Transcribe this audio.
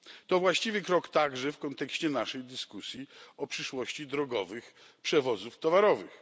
To właściwy krok także w kontekście naszej dyskusji o przyszłości drogowych przewozów towarowych.